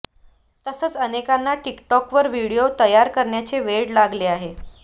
तसेच अनेकांना टिकटॉकवर व्हिडिओ तयार करण्याचे वेड लागले आहे